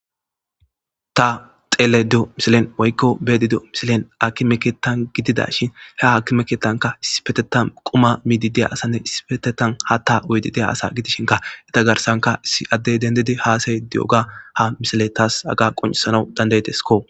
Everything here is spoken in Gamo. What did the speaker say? ta xeele dio misilen woykko beedi do misilen aki meketan gidida shin he haki meketanka isipetetan quma miidi deya asanne isipetetan ha ta uydi deya asa gidishinka eta garsanka issi addey dendidi haasay di7oga ha misile taas aga qoncisanau dandayetesko